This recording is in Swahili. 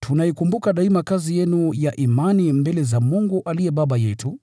Tunaikumbuka daima kazi yenu ya imani mbele za Mungu aliye Baba yetu,